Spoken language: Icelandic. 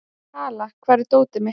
Kala, hvar er dótið mitt?